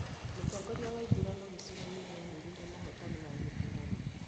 Mũtongoria wa ithurano gicigo-inĩ nĩanĩrĩire mũhotani wa gĩthurano